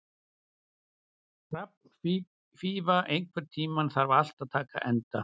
Hrafnfífa, einhvern tímann þarf allt að taka enda.